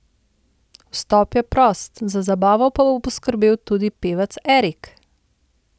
Vstop je prost, za zabavo pa bo poskrbel tudi pevec Erik!